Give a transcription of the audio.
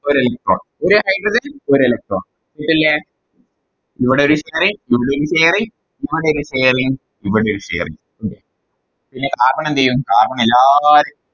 ഒര് Electron ഒര് Hydrogen ഒര് Electron അതല്ലെ ഇവിടെയൊരു Sharing ഇവിടൊരു Sharing ഇങ്ങോട്ടേക്ക് ഒര് Sharing ഇവിടൊരു Sharing ഉണ്ട് പിന്നെ Carbon എന്ത്ചെയ്യും Carbon എല്ലാ